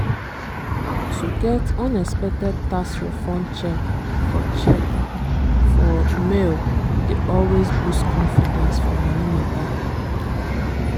to get unexpected tax refund cheque for cheque for mail dey always boost confidence for money matter